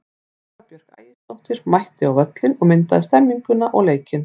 Eva Björk Ægisdóttir mætti á völlinn og myndaði stemmninguna og leikinn.